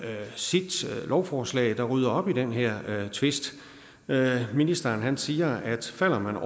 sit lovforslag der rydder op i den her tvist ministeren siger at falder man